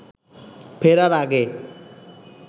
ফেরার আগে